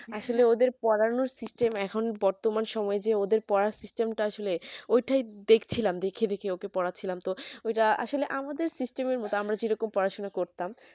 আসলে ওদের পোড়ানোর system এখন বর্তমান সময় যে ওদের পড়ার system টা আসলে ঐটায় দেখছিলাম দেকি দেকি ওকে পড়াচ্ছিলাম তো ওই টা আসলে আমাদের system এর গ্রামে যে রকম পড়া শোনা করতাম